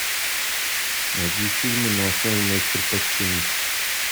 найди фильмы на основе моих предпочтений